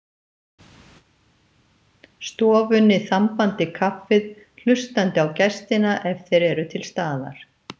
stofunni, þambandi kaffið, hlustandi á gestina ef þeir eru til staðar.